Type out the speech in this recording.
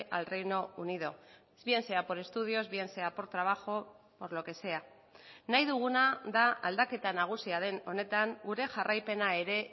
al reino unido bien sea por estudios bien sea por trabajo por lo que sea nahi duguna da aldaketa nagusia den honetan gure jarraipena ere